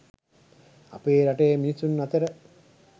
අපේ රටේ මිනිසුන් අතර